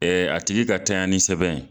Ɛ a tigi ka tanɲanni sɛbɛn